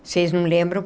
Vocês não lembram?